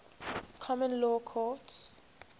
common law courts